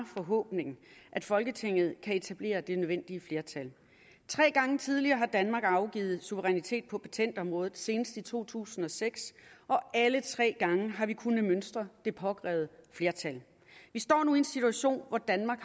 forhåbning at folketinget kan etablere det nødvendige flertal tre gange tidligere har danmark afgivet suverænitet på patentområdet senest i to tusind og seks og alle tre gange har vi kunnet mønstre det påkrævede flertal vi står nu i en situation hvor danmark